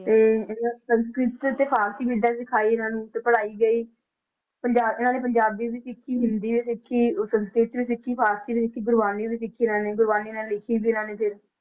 ਤੇ ਇਹਨਾਂ ਨੂੰ ਸੰਸਕ੍ਰਿਤ ਤੇ, ਤੇ ਫਾਰਸੀ ਵਿਦਿਆ ਵੀ ਸਿਖਾਈ ਇਹਨਾਂ ਨੂੰ ਤੇ ਪੜ੍ਹਾਈ ਗਈ, ਪੰਜਾ~ ਇਹਨਾਂ ਨੇ ਪੰਜਾਬੀ ਵੀ ਸਿੱਖੀ, ਹਿੰਦੀ ਵੀ ਸਿੱਖੀ ਅਹ ਸੰਸਕ੍ਰਿਤ ਵੀ ਸਿੱਖੀ, ਫਾਰਸੀ ਵੀ ਸਿੱਖੀ ਦੇ ਗੁਰਬਾਣੀ ਵੀ ਸਿੱਖੀ ਇਹਨਾਂ ਨੇ, ਗੁਰਬਾਣੀ ਨਾਲੇ ਲਿਖੀ ਵੀ ਇਹਨਾਂ ਨੇ ਫਿਰ,